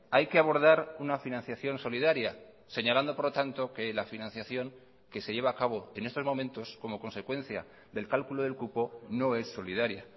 hay que abordar una financiación solidaria señalando por lo tanto que la financiación que se lleva a cabo en estos momentos como consecuencia del cálculo del cupo no es solidaria